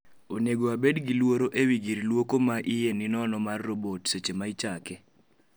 Onego abed gi luoro ewi gir luoko ma iye ninono mar robot seche ma ichake